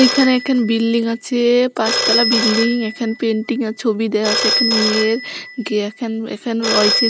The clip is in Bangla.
এইখানে একখান বিল্ডিং আছে -এ পাঁচতলা বিল্ডিং একখান পেইন্টিং য়ের ছবি দেয়া আছে একটা মেয়ের